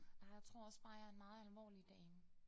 Nej jeg tror også bare jeg en meget alvorlig dame